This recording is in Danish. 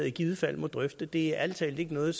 i givet fald må drøfte det er ærlig talt ikke noget